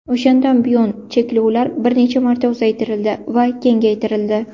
O‘shandan buyon cheklovlar bir necha marta uzaytirildi va kengaytirildi.